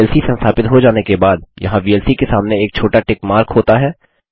VLC संस्थापित हो जाने के बाद यहाँ वीएलसी के सामने एक छोटा टिक मार्क होता है